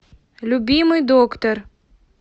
любимый доктор